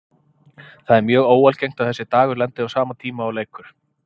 Það er mjög óalgengt að þessi dagur lendi á sama tíma og leikur.